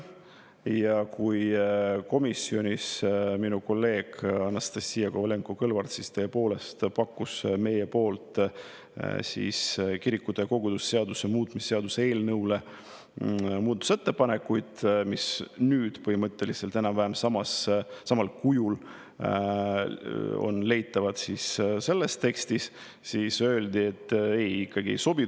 Ja kui komisjonis minu kolleeg Anastassia Kovalenko-Kõlvart tõepoolest pakkus meie poolt kirikute ja koguduste seaduse muutmise seaduse eelnõule muudatusettepanekuid, mis nüüd põhimõtteliselt enam-vähem samal kujul on leitavad selles tekstis, siis öeldi, et ei sobi.